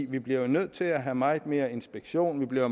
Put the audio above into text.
vi bliver jo nødt til at have meget mere inspektion vi bliver